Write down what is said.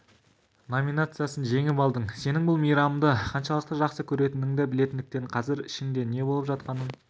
номинациясын жеңіп алдың сенің бұл мейрамды қаншалықты жақсы көретініңді білетіндіктен қазір ішіңде не болып жатқанын